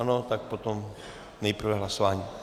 Ano, tak potom... nejprve hlasování.